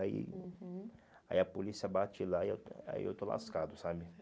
Aí, uhum, aí a polícia bate lá e eu aí eu estou lascado, sabe?